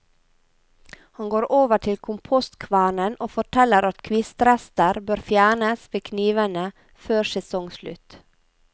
Han går over til kompostkvernen og forteller at kvistrester bør fjernes ved knivene før sesongslutt.